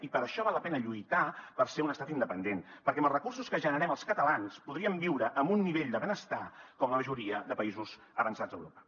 i per això val la pena lluitar per ser un estat independent perquè amb els recursos que generem els catalans podríem viure amb un nivell de benestar com la majoria de països avançats d’europa